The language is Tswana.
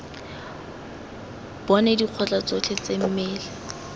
bone dikotla tsotlhe tse mmele